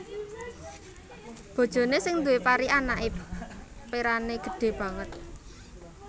Bojoné sing duwé pari anaké perané gedhé banget